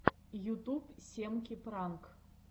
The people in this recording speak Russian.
ютуб семки пранк